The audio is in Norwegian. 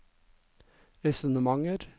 resonnementer